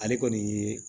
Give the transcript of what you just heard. Ale kɔni ye